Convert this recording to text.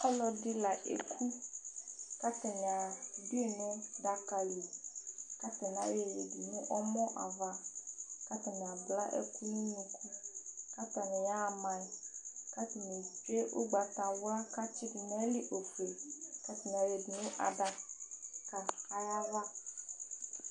Ɔlɔdi la eku kʋ atani adu yi nʋ adaka li kʋ atani ayɔ yɛ yadu nʋ ɛmɔ ava kʋ atani abla ɛkʋ nʋ inu kʋ atani yaha ma yi kʋ atani etsʋe ugbatawla kʋ atsi du nʋ ayìlí ɔfʋe nʋ adaka yɛ ava